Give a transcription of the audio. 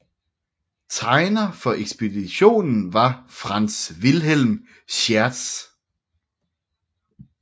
Tegner for ekspeditionen var Franz Wilhelm Schiertz